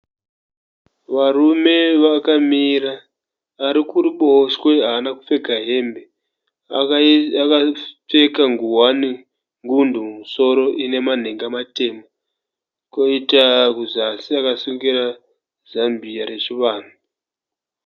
Varume vakamira. Ari kuruboshwe haana kupfeka hembe. Akapfeka ngowani ngundu mumusoro ine manhenga matema, koita kuzasi akasungira zambia rechivanhu.